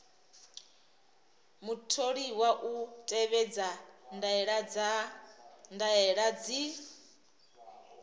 mutholiwa u tevhedza ndaela dzi